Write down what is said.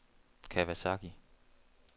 Kawasaki